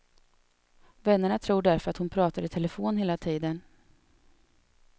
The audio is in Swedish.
Vännerna tror därför att hon pratar i telefon hela tiden.